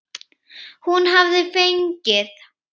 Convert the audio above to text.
Hún hafði fengið